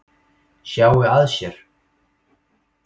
Sjái að sér.